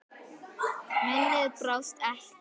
Minnið brást ekki.